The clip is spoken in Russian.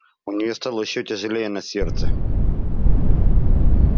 у неё стало ещё тяжелее на сердце